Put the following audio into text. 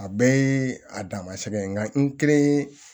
A bɛɛ ye a dama sɛbɛn nka n kelen